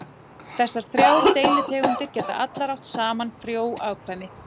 Þessar þrjár deilitegundir geta allar átt saman frjó afkvæmi.